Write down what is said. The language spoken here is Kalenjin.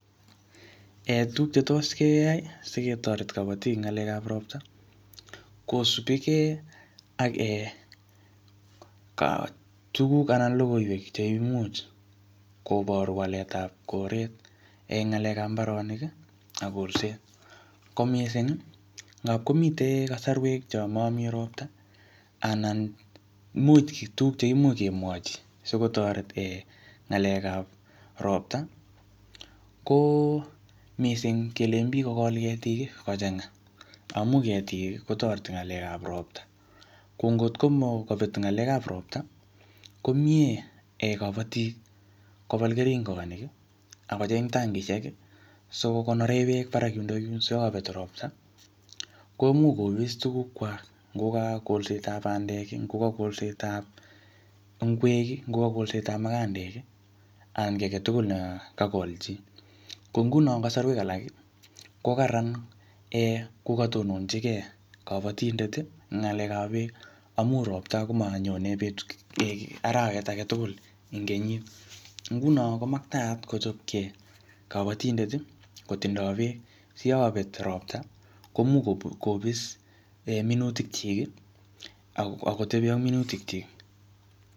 Tuguk che tos keyai, siketoret kabatik eng ng'alekap ropta, kosupikey ak um tuguk anan logoiwek cheimuch kobor waletap koret eng ng'alekap mbaronik ak kolset. Ko missing, ngapkomite kasarwek chomomii ropta, anan imuch tuguk cheimuch kemwochi, sikotoret um ng'alekap ropta, ko missing kelen biik kokol ketik kochanga. Amu ketik, kotoreti ng'alekap ropta. Ko ngotko kabet ng'alekap ropta, ko miiee kabatik kobal keringonik, akocheng tankishek, sikokonore beek barak yundokyun. Siyakabet ropta, koimuch kopis tuguk kwak. Ngoka kolsetap bandek, ngoka kolsetap ngwek, ngoka kolsetap mukandek, anan kiy age tugul nekakol chii. Ko nguno eng kasarwek alak, ko kararan um kokatononchikei kabatindet ng'alekap beek. Amuu ropta komanyone beek arawet age tugul eng kenyit. Nguno komakataat kochopkey kabatindet, kotindoi beek. Siyakabet ropta, komuch kopi-kopis um minutik chik, akotebi ak minutik chik.